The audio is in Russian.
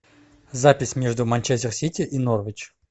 запись между манчестер сити и норвич